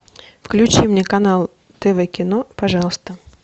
включи мне канал тв кино пожалуйста